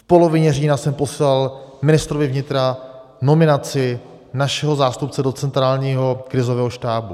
V polovině října jsem posílal ministru vnitra nominaci našeho zástupce do centrálního krizového štábu.